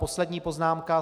Poslední poznámka.